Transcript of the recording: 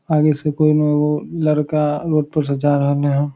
आगे से कोई ना एगो लड़का ऊपर से जा रहले ह।